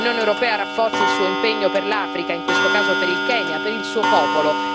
L'Unione europea rafforzi il suo impegno per l'Africa, in questo caso per il Kenya, per il suo popolo.